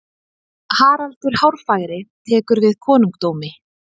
Haraldur Hárfagri tekur við konungdómi.